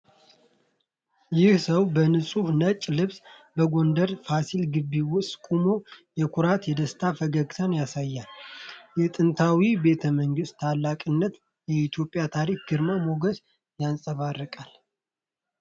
ይህ ሰው በንጹህ ነጭ ልብስ በጎንደር ፋሲል ግቢ ውስጥ ቆሞ የኩራትና የደስታ ፈገግታ ያሳያል። የጥንታዊ ቤተመንግስቱ ታላቅነት የኢትዮጵያን ታሪክ ግርማ ሞገስ ያንጸባርቃል።